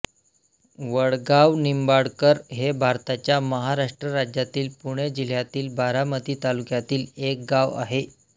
वडगावनिंबाळकर हे भारताच्या महाराष्ट्र राज्यातील पुणे जिल्ह्यातील बारामती तालुक्यातील एक गाव आहे